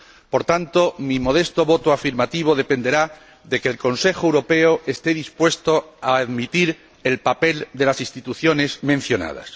Por tanto, mi modesto voto a favor dependerá de que el Consejo Europeo esté dispuesto a admitir el papel de las instituciones mencionadas.